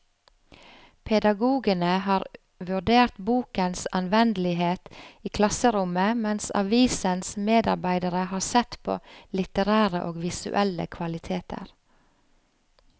Pedagogene har vurdert bokens anvendelighet i klasserommet, mens avisens medarbeidere har sett på litterære og visuelle kvaliteter.